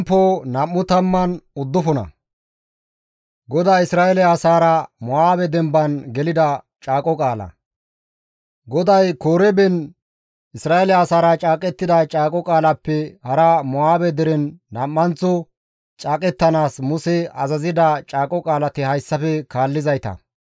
GODAY Koreben Isra7eele asaara caaqettida caaqo qaalappe hara Mo7aabe deren nam7anththo caaqettanaas Muse azazida caaqo qaalati hayssafe kaallizayta.